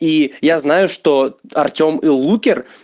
и я знаю что артем и лукер